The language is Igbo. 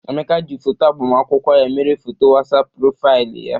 Emeka ji foto agbamakwụkwọ ya mere foto WhatsApp profaịlị ya.